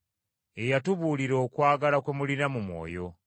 ye yatubuulira okwagala kwe mulina mu Mwoyo.